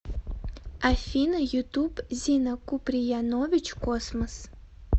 афина ютуб зина куприянович космос